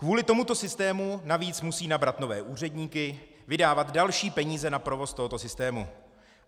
Kvůli tomuto systému navíc musí nabrat nové úředníky, vydávat další peníze na provoz tohoto systému.